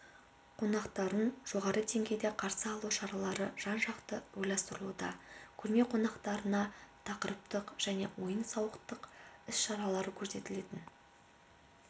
қонақтарын жоғары деңгейде қарсы алу шаралары жан-жақты ойластырылуда көрме қонақтарына тақырыптық және ойын-сауық іс-шаралары көрсетілетін